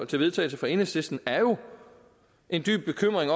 til vedtagelse fra enhedslisten er jo en dyb bekymring